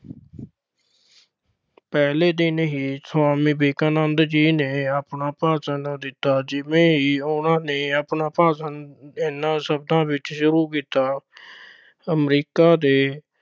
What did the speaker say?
ਪਹਿਲੇ ਦਿਨ ਹੀ ਸੁਆਮੀ ਵਿਵੇਕਾਨੰਦ ਜੀ ਨੇ ਆਪਣਾ ਭਾਸ਼ਣ ਦਿੱਤਾ, ਜਿਵੇਂ ਹੀ ਉਨ੍ਹਾਂ ਨੇ ਆਪਣਾ ਭਾਸ਼ਣ ਏਨਾ ਸ਼ਬਦਾਂ ਵਿੱਚ ਸ਼ੁਰੂ ਕੀਤਾ, America ਦੇ